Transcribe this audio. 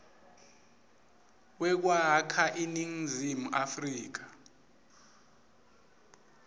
wekwakha iningizimu afrika